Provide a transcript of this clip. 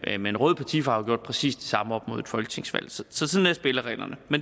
en rød partifarve har gjort præcis det samme op mod et folketingsvalg sådan er spillereglerne